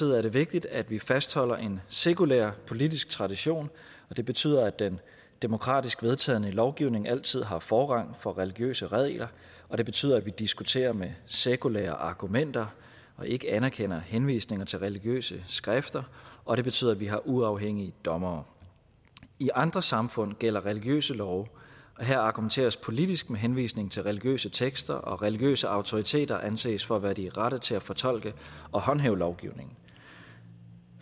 er det vigtigt at vi fastholder en sekulær politisk tradition og det betyder at den demokratisk vedtagne lovgivning altid har forrang for religiøse regler og det betyder at vi diskuterer med sekulære argumenter og ikke anerkender henvisninger til religiøse skrifter og det betyder at vi har uafhængige dommere i andre samfund gælder religiøse love og her argumenteres politisk med henvisning til religiøse tekster og religiøse autoriteter anses for at være de rette til at fortolke og håndhæve lovgivningen